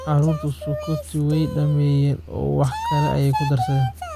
Carruurtu sukotii way dhammeeyeen oo wax kale ayay ku darsadeen